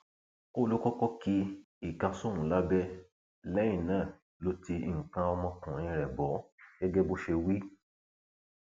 ó lọ kọkọ ki ìka sóun lábẹ lẹyìn náà ló ti nǹkan ọmọkùnrin rẹ bò ó gẹgẹ bó ṣe wí